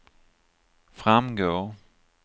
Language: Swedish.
framgår